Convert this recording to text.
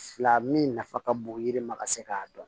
Fila min nafa ka bon yiri ma ka se k'a dɔn